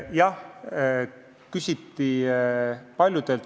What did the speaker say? Jah, küsiti paljudelt.